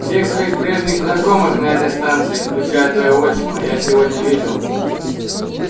всех своих прежних знакомых на этой станции включая твоего отчима я сегодня видел